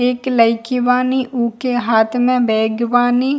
एक लइकी वानी उके हाथ में बैग वानी।